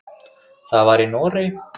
Það var í Noregi.